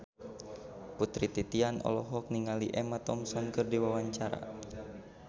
Putri Titian olohok ningali Emma Thompson keur diwawancara